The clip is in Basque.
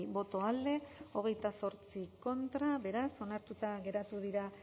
boto alde veintiocho contra beraz onartuta geratu dira